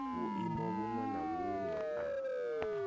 vhuimo vhuṅwe na vhuṅwe a